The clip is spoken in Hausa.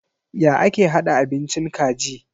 Ya ake hada abincin kaji?